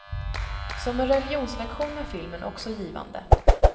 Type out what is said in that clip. Som en religionslektion är filmen också givande.